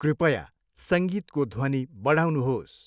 कृपया सङ्गीतको ध्वनि बढाउनुहोस्।